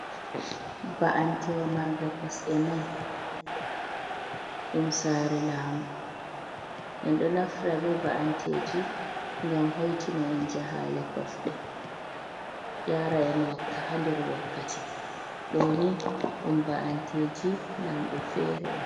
Ba'antewa marnga kosɗe nay. Ɗum saare laamu. En ɗo naftira be ba’anteeji ngam hoitina en jahaale kosɗe, yaara en haa nder wakkati. Ɗo nii, ɗum ba’anteeji lamɗo feere on.